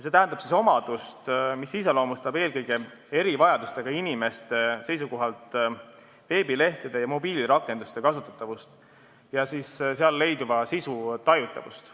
See tähendab omadust, mis iseloomustab veebilehtede ja mobiilirakenduste kasutatavust ja seal leiduva sisu tajutavust eelkõige erivajadustega inimeste seisukohalt.